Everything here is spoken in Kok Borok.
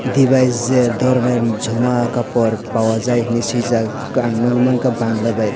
desingner dhoroner joma kapor pawa jai hinwi swijak ang nukgwi mankha bangla bai.